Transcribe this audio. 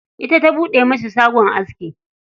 Ita ta buɗe masa shagon aski.